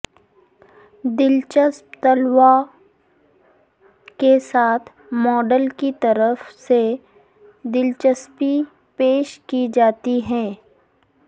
دلچسپ تلووں کے ساتھ ماڈل کی طرف سے دلچسپی پیش کی جاتی ہے